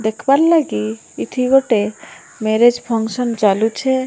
ଦେଖବାର୍ ଲାଗି ଏଠି ଗୋଟେ ମ୍ୟାରେଜ୍ ଫଙ୍କସନ୍ ଚାଲୁଛେ।